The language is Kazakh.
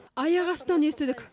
аяқ астынан естідік